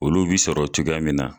Olu bi sɔrɔ cogoya min na